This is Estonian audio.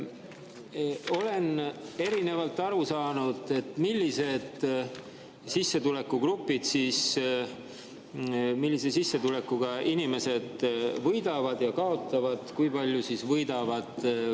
Olen erinevalt aru saanud, millise sissetulekuga inimesed võidavad ja kaotavad, kui palju võidavad.